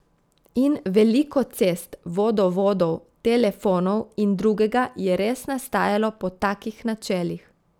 In veliko cest, vodovodov, telefonov in drugega je res nastajalo po takih načelih.